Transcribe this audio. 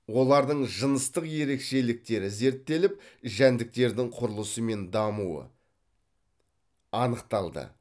олардың жыныстық ерекшеліктері зерттеліп жәндіктердің құрылысы мен дамуы анықталды